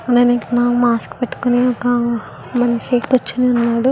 అలాగే ఇక్కడ మాస్క్ పెట్టుకుని ఒక మనిషి కూర్చుని ఉన్నాడు.